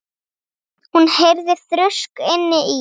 Hún heyrði þrusk inni í